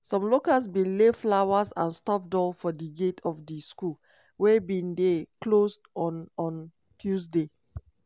some locals bin lay flowers and stuffed doll for di gate of di school wey bin dey closed on on tuesday.